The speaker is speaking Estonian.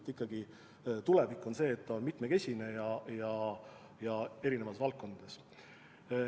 Tulevik on ikkagi see, et ettevõtlus on mitmekesine, tegutsetakse erinevates valdkondades.